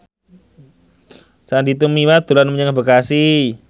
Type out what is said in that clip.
Sandy Tumiwa dolan menyang Bekasi